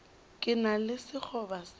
ke na le sekgoba sa